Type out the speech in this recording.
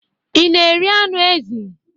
Ị na-eri anụ ezi?